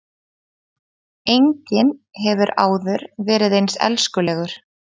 Enginn hefur áður verið eins elskulegur